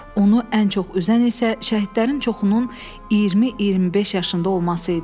Onu ən çox üzən isə şəhidlərin çoxunun 20-25 yaşında olması idi.